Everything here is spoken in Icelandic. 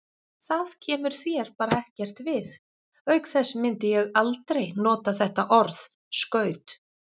Það kemur þér bara ekkert við, auk þess myndi ég aldrei nota þetta orð, skaut.